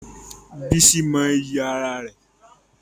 Bísí mọ iyì ara rẹ̀.